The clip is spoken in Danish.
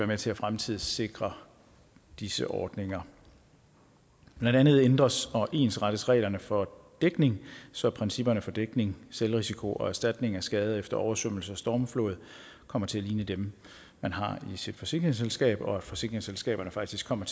med til at fremtidssikre disse ordninger blandt andet ændres og ensrettes reglerne for dækning så principperne for dækning selvrisiko og erstatning ved skader efter oversvømmelse og stormflod kommer til at ligne dem man har i sit forsikringsselskab og så forsikringsselskaberne faktisk kommer